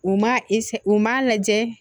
U ma u m'a lajɛ